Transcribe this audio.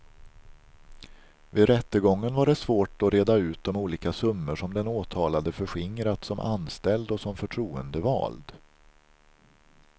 Vid rättegången var det svårt att reda ut de olika summor som den åtalade förskingrat som anställd och som förtroendevald.